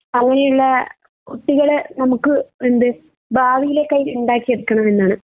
അങ്ങനെയുള്ള കുട്ടികൾ നമ്മുക്ക് എന്ത് ഭാവിയിലേക്കായി ഇണ്ടാക്കിയെടുക്കണമെന്നാണ്